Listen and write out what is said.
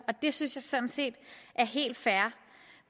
og det synes jeg sådan set er helt fair